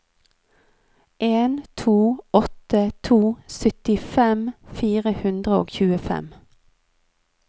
en to åtte to syttifem fire hundre og tjuefem